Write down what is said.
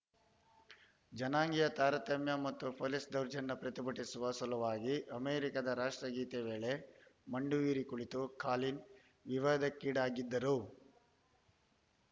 ಜನಾಂಗೀಯ ತಾರತಮ್ಯ ಮತ್ತು ಪೊಲೀಸ್‌ ದೌರ್ಜನ್ಯ ಪ್ರತಿಭಟಿಸುವ ಸಲುವಾಗಿ ಅಮೆರಿಕದ ರಾಷ್ಟ್ರಗೀತೆ ವೇಳೆ ಮಂಡಿಯೂರಿ ಕುಳಿತು ಕಾಲಿನ್‌ ವಿವಾದಕ್ಕೀಡಾಗಿದ್ದರು